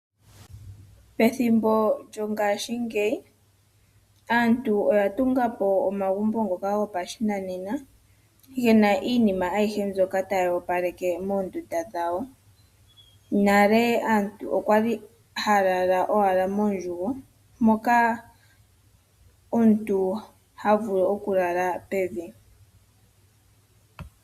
Pethimbo lyongaashingeyi aantu oyatungapo omagumbo ngoka gopashinanena , gena iinima aihe mbyoka tayi opaleke moondunda dhawo. Nale aantu okwa li haya lala owala moondjugo moka omuntu havulu okulala pevi.